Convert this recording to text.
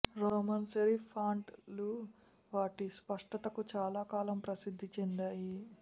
Roman serif font లు వాటి స్పష్టతకు చాలాకాలం ప్రసిద్ది చెందాయి